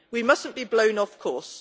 We must not be blown off course.